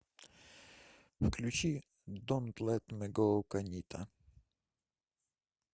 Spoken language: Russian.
включи донт лэт ми гоу канита